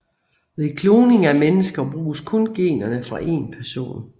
Ved kloning af mennesker bruges kun generne fra en person